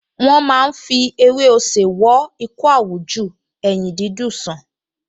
Wọ́n máa ń fi ewé osè wo ikọ́ àwújù, eyín dídùn sàn